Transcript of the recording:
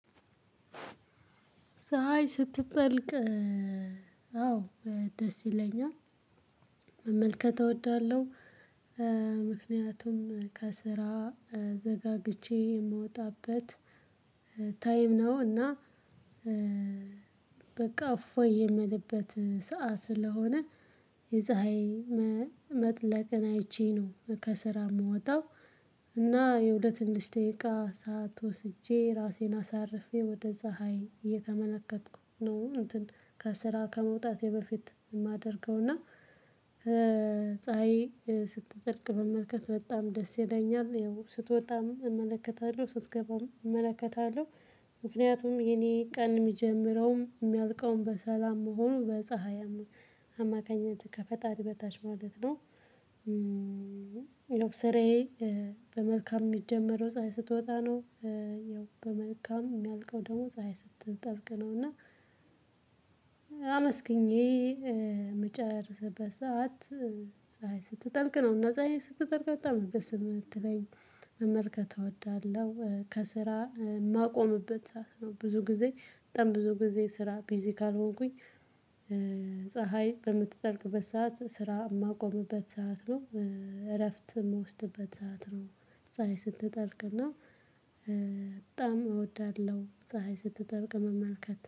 ፀሀይ ስትጠልቅ። አዎ ደስ ይለኛል። መመልከት እወዳለሁ። ምክንያቱም ከስራ ዘጋግቼ የምወጣበት ታይም ነው። እና በቃ አፎይ የምልበት ሰዓት ስለሆነ። የፀሀይ መጥለቅን አይቼ ነው ከስራ የምወጣው። እና ለሆነ ትንሽ ደቂቃ ሰዓት ወስጄ ራሴን አሳርፌ ወደ ፀሀይ እየተመለከትኩ ነው። እንትን ከስራ ከመውጣቴ በፊት የማደርገው እና። ፀሀይ ስትጠልቅ መመልከት በጣም ደስ ይለኛል። ስትወጣም እመለከታለሁ። ምክንያቱም የኔ ቀን የሚጀምረውም የሚያልቀውም በሰላም መሆኑ በፀሀይ አማካኝነት ነው። ከፈጣሪ በታች ስራየ። በመልካም የምጀምረው ፀሀይ ስትወጣ ነው። በመልካም የሚያልቀው ፀሀይ ስትጠልቅ ነው። እና አመስግኜ እምጨርስበት ሰዓት ፀሀይ ስትጠልቅ ነው። እና ፀሀይ ስትጠልቅ በጣም ነው ደስ የሚለኝ መመልከት እወዳለሁ። ከስራ የማቆምበት ሰዓት ነው። ብዙ ጊዜ በጣም በስራ ቢዚ ካልሆንኩኝ። ፀሀይ በምትጠልቅበት ሰዓት ስራ የማቆምበት ሰዓት ነው። እረፍት የምወስድበት ሰዓት ፀሀይ ስትጠልቅ ነው። እና በጣም እወዳለሁ